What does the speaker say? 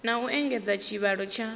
na u engedza tshivhalo tsha